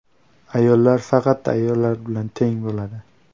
Ayollar faqat ayollar bilan teng bo‘ladi.